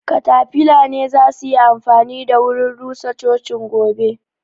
katafila ne zasuyi amfani da wurin rusa cocin gobe